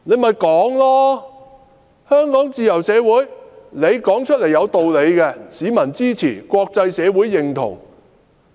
香港是自由社會，只要說出來是有道理的，市民會支持，國際社會也會認同。